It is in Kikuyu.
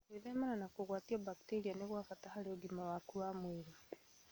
Gwĩthemana na kũgwatio mbakteria nĩ gwa bata harĩ ũgima waku wa mwĩrĩ